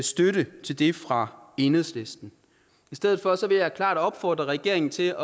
støtte til det fra enhedslisten i stedet for vil jeg klart opfordre regeringen til